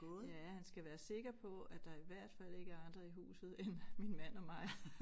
Ja han skal være sikker på at der i hvert fald ikke er andre i huset end min mand og mig